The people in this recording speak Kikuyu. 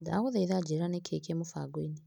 Ndagũthaitha njĩra nĩkĩĩ kĩ mũbango-inĩ .